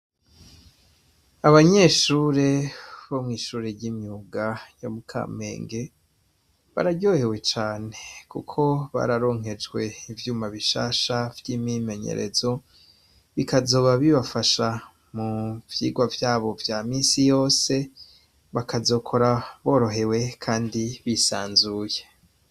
Abanyeshure bomwishuri ryimyuga ryo mukamenge bararyohewe cane kuko bararonkejwe ivyuma bishasha vyimyimenyerezo bikazoba Bibafasha muvyigwa vyabo vyamisi yose bakazokora borohewe kandi bisanzuye.